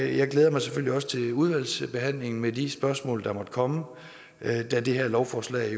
jeg glæder mig selvfølgelig også til udvalgsbehandlingen med de spørgsmål der måtte komme da det her lovforslag